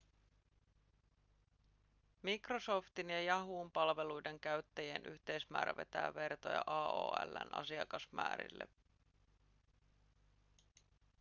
microsoftin ja yahoon palveluiden käyttäjien yhteismäärä vetää vertoja aol:n asiakasmäärille